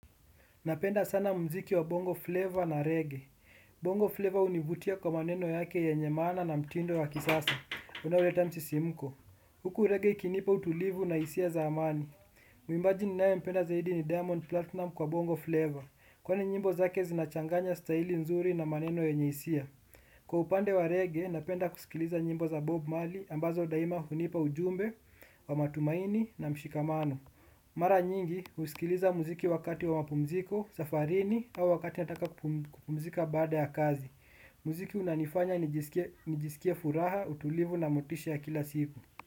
Napenda sana mziki wa bongo flavor na reggae. Bongo flavor univutia kwa maneno yake yanye maana na mtindo wa kisasa. Unauleta msisimuko. Huku reggae ikinipa utulivu na hisia za amani. Mwimbaji ninae mpenda zaidi ni diamond platinum kwa bongo flavor. Kwani nyimbo zake zinachanganya staili nzuri na maneno yenye hisia. Kwa upande wa reggae, napenda kusikiliza nyimbo za bob maley ambazo daima hunipa ujumbe, wa matumaini na mshikamano. Mara nyingi huskiliza muziki wakati wa mapumziko, safarini au wakati nataka kupumzika baada ya kazi. Muziki unanifanya nijisikie furaha, utulivu na motisha ya kila siku.